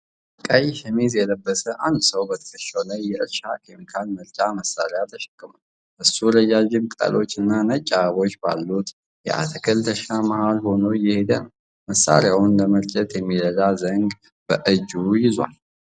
ቀይ ሸሚዝ የለበሰ አንድ ሰው በትከሻው ላይ የእርሻ ኬሚካል መርጫ መሣሪያ ተሸክሟል። እሱ ረዣዥም ቅጠሎችና ነጭ አበባዎች ባሉት የአትክልት እርሻ መሀል ሆኖ እየሄደ ነው። መሣሪያውን ለመርጨት የሚረዳ ዘንግ በእጁ ይዟል።